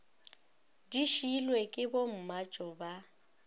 di šiilwe ke bommatšo ba